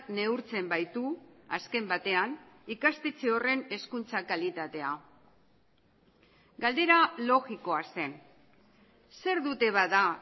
neurtzen baitu azken batean ikastetxe horren hezkuntza kalitatea galdera logikoa zen zer dute bada